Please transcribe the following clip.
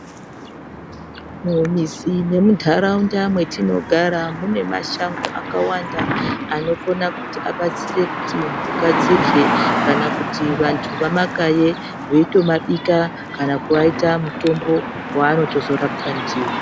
Mumizi nemuntaraunda mwetinogara munemashango akawanda. Anokona kuti abatsire kuti mhuka dzirye, kana kuti vantu vamakaye veitomabika kana kuaita mutombo vaanotozorapwa ndivo.